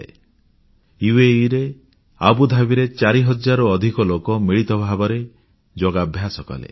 ସଂଯୁକ୍ତ ଆରବ ଅମିରତନ୍ତ୍ରର ଆବୁଧାବୀଠାରେ 4000 ରୁ ଅଧିକ ଲୋକ ମିଳିତ ଭାବରେ ଯୋଗାଭ୍ୟାସ କଲେ